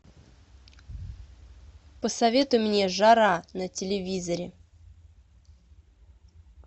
посоветуй мне жара на телевизоре